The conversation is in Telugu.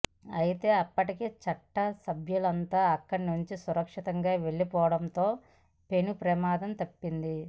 అయితే అప్పటికే చట్టసభ్యులంతా అక్కడి నుంచి సురక్షితంగా వెళ్లిపోవడంతో పెను ప్రమాదం తప్పింది